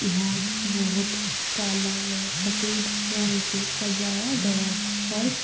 यहाँ बहुत काला व सफ़ेद रंग से सजाया गया है फर्श।